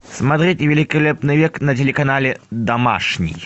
смотреть великолепный век на телеканале домашний